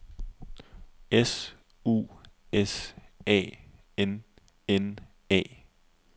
S U S A N N A